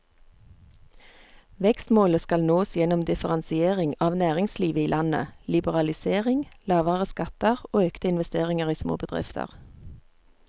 Vekstmålet skal nås gjennom differensiering av næringslivet i landet, liberalisering, lavere skatter og økte investeringer i småbedrifter.